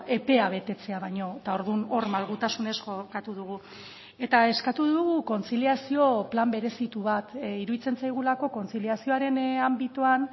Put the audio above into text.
epea betetzea baino eta orduan hor malgutasunez jokatu dugu eta eskatu dugu kontziliazio plan berezitu bat iruditzen zaigulako kontziliazioaren anbitoan